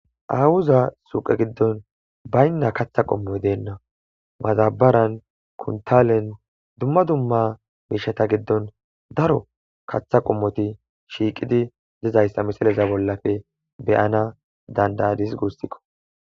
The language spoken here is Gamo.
awuza suqe giddon baynna katha qommo deenna mazabaran kuntalen dumma dumma biishata giddon daro katha qommoti shiiqidi dizayssa misaleza bollafe beyana dandadis gustikko